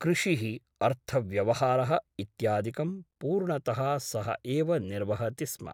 कृषिः , अर्थव्यवहारः इत्यादिकं पूर्णतः सः एव निर्वहति स्म ।